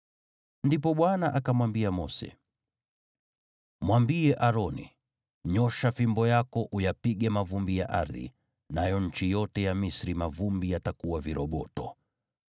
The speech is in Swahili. Ndipo Bwana akamwambia Mose, “Mwambie Aroni, ‘Nyoosha fimbo yako uyapige mavumbi ya ardhi,’ nayo nchi yote ya Misri mavumbi yatakuwa viroboto.”